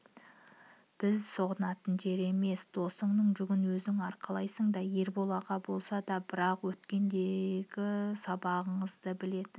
біз сүғынатын жер емес досыңның жүгін өзің арқалайсыңда ербол аға болса да бірақ өткендегі сыбағаңызды білетін